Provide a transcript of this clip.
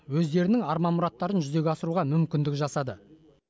өздерінің арман мұраттарын жүзеге асыруға мүмкіндік жасады